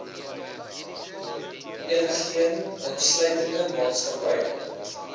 enigeen insluitende maatskappye